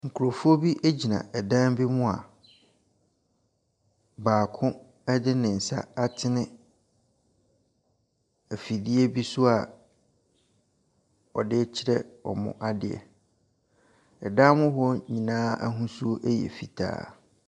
Nkurɔfoɔ bi gyina dan bi mu a baako de ne nsa atene afidie bi so a ɔde rekyerɛ wɔn adeɛ. Dan mu hɔ nyinaa ahosuo yɛ fitaa.